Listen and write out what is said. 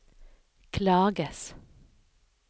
klages